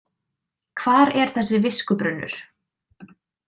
Hvar er þessi viskubrunnur?